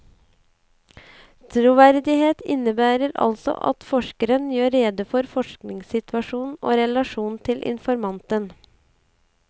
Troverdighet innebærer altså at forskeren gjør rede for forskningssituasjonen og relasjonen til informanten.